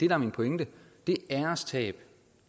er min pointe det ærestab